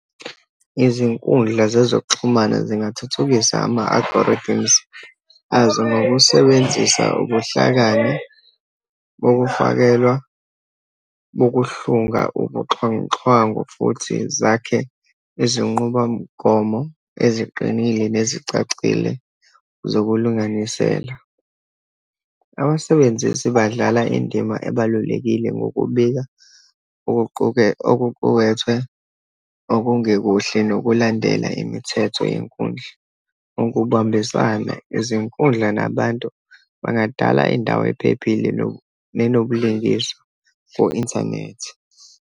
Izinkundla zezokuxhumana zingathuthukisa ama-algorithms azo, ngokusebenzisa ubuhlakani bokufakelwa, bokuhlunga ubuxhwanguxhwangu, futhi zakhe izinqubamgomo eziqinile nezicacile zokulunganisela. Abasebenzisi badlala indima ebalulekile ngokubika okuqukethwe okungekekuhle nokulandela imithetho yenkundla. Ukubambisane, izinkundla, nabantu bangadala indawo ephephile nenobulungiswa for internet.